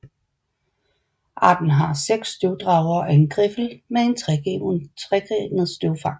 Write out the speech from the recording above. Arten har seks støvdragere og en griffel med et tregrenet støvfang